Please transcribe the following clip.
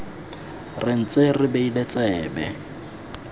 re ntse re beile tsebe